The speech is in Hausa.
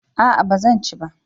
A'a ba zan ci ba